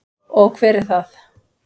Og hver er það?